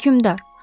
Hökmdar.